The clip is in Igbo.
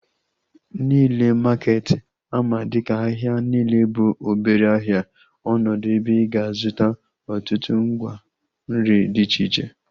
Nile maketi ama dịka ahịa Nile bụ obere ahịa ọnọdụ ebe ị ga-azụta ọtụtụ ngwa nri dị iche iche